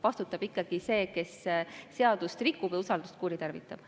Vastutab ikkagi see, kes seadust rikub ja usaldust kuritarvitab.